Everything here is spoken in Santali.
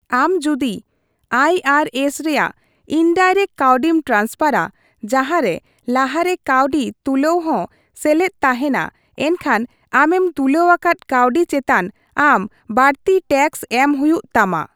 ᱟᱢ ᱡᱩᱫᱤ ᱟᱭ ᱟᱨ ᱮᱥ ᱨᱮᱭᱟᱜ ᱤᱱᱰᱟᱭᱨᱮᱠᱴ ᱠᱟᱹᱣᱰᱤᱢ ᱴᱨᱟᱱᱥᱯᱷᱟᱨᱼᱟ, ᱡᱟᱸᱦᱟ ᱨᱮ ᱞᱟᱦᱟ ᱨᱮ ᱠᱟᱹᱣᱰᱤ ᱛᱩᱞᱟᱹᱣ ᱦᱚᱸ ᱥᱮᱞᱮᱫ ᱛᱟᱦᱮᱱᱟ, ᱮᱱᱠᱷᱟᱱ ᱟᱢᱮᱢ ᱛᱩᱞᱟᱹᱣ ᱟᱠᱟᱫ ᱠᱟᱹᱣᱰᱤ ᱪᱮᱛᱟᱱ ᱟᱢ ᱵᱟᱹᱲᱛᱤ ᱴᱮᱠᱥ ᱮᱢ ᱦᱩᱭᱩᱜ ᱛᱟᱢᱟ ᱾